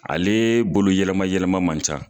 Ale bolo yɛlɛma yɛlɛma man ca.